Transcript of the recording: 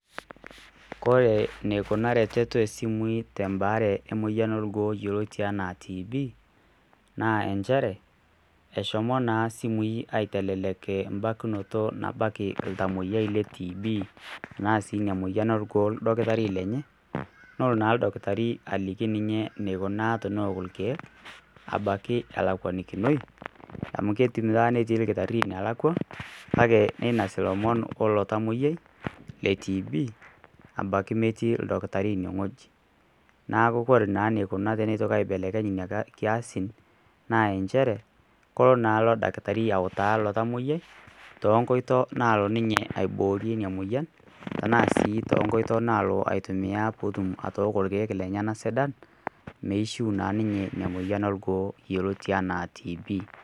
Koree neikuna ereteto esimui tem'baare emoyian orgoo yeloti sns TB naa inchere eshomo naa simui aaitelelek imbakinoto nabaki iltamoiyai le TB anaa si ina moyian orgoo ildakitari lenye nelo naa oldakitari aliki ninye neikunaa teneok irkiek abaki elakwanikinoi amu keidim taata netii lkitari nelakwa kake keinos lomon oilo tamoyiai le TB abaki emetii ildakitari ineweji, naaku kore naa neikuna teneitoki aibelekeny ina kiasin naa inchere kelo naa ilo irdakitari autaa ilo tamoyiai too nkoito naalo ninye aiboorie ina moyian tenaa sii to nkoito nalo ninye aitumiya peetum irkiek lenye sidan meishuu naa ninye ina moyian orgoo yeloti anaa TB